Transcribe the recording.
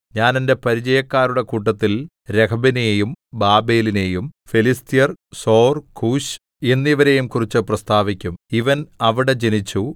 ഞാൻ എന്റെ പരിചയക്കാരുടെ കൂട്ടത്തിൽ രഹബിനെയും ബാബേലിനെയും ഫെലിസ്ത്യർ സോർ കൂശ് എന്നിവരെയും കുറിച്ച് പ്രസ്താവിക്കും ഇവൻ അവിടെ ജനിച്ചു